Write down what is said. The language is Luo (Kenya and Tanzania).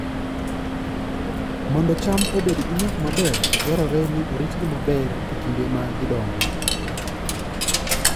Mondo cham obed gi nyak maber, dwarore ni oritgi maber e kinde ma gidongo